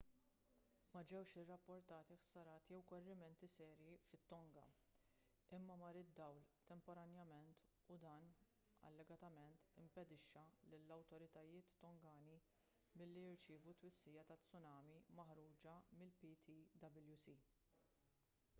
ma ġewx irrappurtati ħsarat jew korrimenti serji fit-tonga imma mar id-dawl temporanjament u dan allegatament impedixxa lill-awtoritajiet tongani milli jirċievu t-twissija tat-tsunami maħruġa mill-ptwc